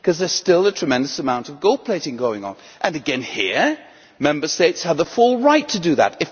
There is still a tremendous amount of gold plating going on. And again here, Member States have the full right to do that.